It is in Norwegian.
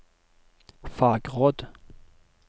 fagråd